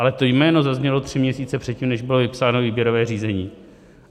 Ale to jméno zaznělo tři měsíce předtím, než bylo vypsáno výběrové řízení.